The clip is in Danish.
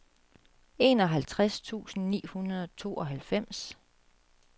enoghalvtreds tusind ni hundrede og tooghalvfems